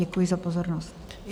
Děkuji za pozornost.